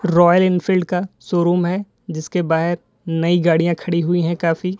Royal Enfield का showroom है जिसके बाएं नई गाड़ियां खड़ी हुई है काफी।